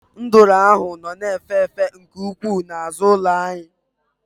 Nduru ahụ nọ na-efe efe nke ukwuu n'azụ ụlọ ụnyahụ.